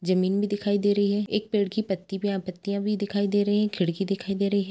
जमीन भी दिखाई दे रही है एक पेड़ की पत्ती भी पत्तियाँ भी दिखाई दे रही है खिड़की दिखाई दे रही--